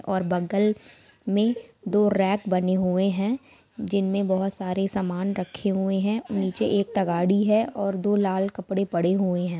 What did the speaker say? और बगल मे दो रैक बने हुए हैं जिनमें बहुत सारे समान रखे हुए हैं नीचे एक तगाड़ी है और दो लाल कपड़े पड़े हुए हैं।